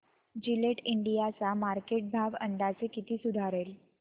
Gillette India चा market भाव अंदाजे कधी सुधारेल